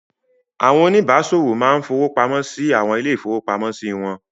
Àwọn oníbàáṣòwò máa ń fowó pamọ́ sí àwọn ilé-ìfowópamọ́sí wọn.